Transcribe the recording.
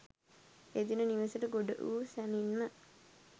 එදින නිවෙසට ගොඩ වූ සැණින්ම